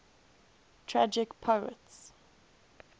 tragic poets